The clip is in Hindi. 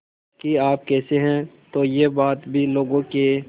कि आप कैसे हैं तो यह बात भी लोगों के